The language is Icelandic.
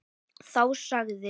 Þá sagði